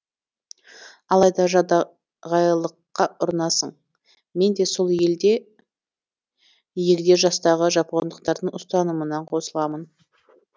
алайда жадағайлыққа ұрынасың мен де сол егде жастағы жапондықтардың ұстанымына қосыламын